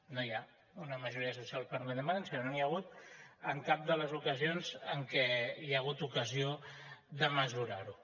no hi ha una majoria social per la independència no n’hi ha hagut en cap de les ocasions en què hi ha hagut ocasió de mesurar ho